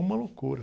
Uma loucura.